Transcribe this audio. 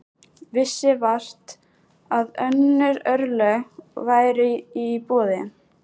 Vissi vart að önnur örlög væru í boði.